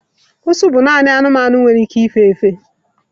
Ụsụ bụ naanị anụ anụmanụ nwere ike ịfefe